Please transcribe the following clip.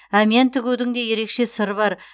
әмиян тігудің де ерекше сыры бар